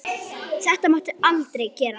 Þetta máttu aldrei gera.